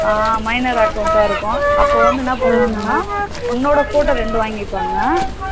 அஹ் minor account அ இருக்கும் அபோ வந்து என்ன பண்ணுவாங்கனா உன்னோட photo ரெண்டு வாங்கிபாங்க,